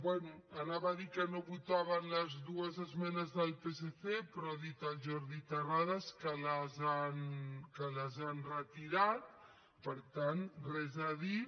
bé anava a dir que no votàvem les dues esmenes del psc però ha dit el jordi terrades que les han retirat per tant res a dir